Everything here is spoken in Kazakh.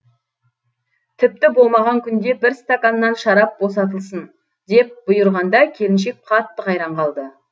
тіпті болмаған күнде бір стақаннан шарап босатылсын деп бұйырғанда келіншек қатты қайран қалды